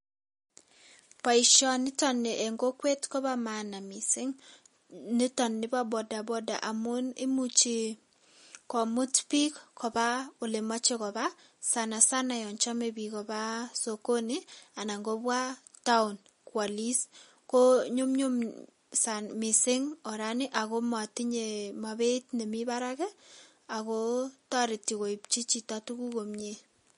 Boishoniton nii en kokwet kobo maana mising niton boo botabota amuun imuchi komut biik kobaa olemoche kobaa sana sana yoon chome biik kobaa sokoni anan kobaa taon kwolis, ko nyumnyum oraniton ak komotinye beeit nemii barak ak kotereti koipchi tukuk chito komnyee.